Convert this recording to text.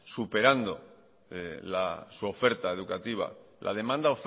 superando su oferta educativa la demanda